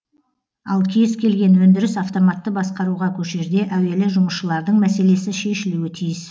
ал кез келген өндіріс автоматты басқаруға көшерде әуелі жұмысшылардың мәселесі шешілуі тиіс